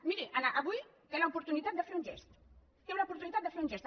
miri avui té l’oportunitat de fer un gest té l’oportunitat de fer un gest